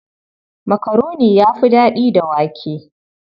Makaroni ya fi daɗi da wake.